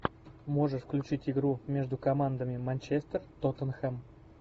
можешь включить игру между командами манчестер тоттенхэм